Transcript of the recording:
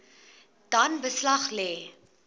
dan beslag lê